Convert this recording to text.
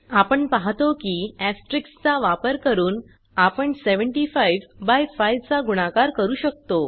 आपण पाहतो की एस्टेरिस्क चा वापर करून आपण 75 बाय 5 चा गुणाकार करू शकतो